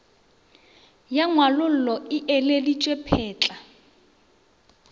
ya ngwalollo e ileditšwe phetla